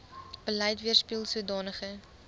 beleid weerspieel sodanige